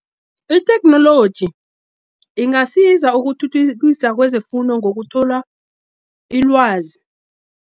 Itheknoloji ingasiza ukuthuthukisa kwezefundo, ngokuthola ilwazi.